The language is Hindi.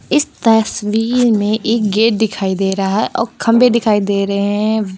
तस्वीर में एक गेट दिखाई दे रहा और खंभे दिखाई दे रहे हैं।